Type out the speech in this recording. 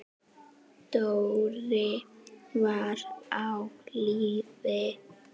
Dóri var á lífi.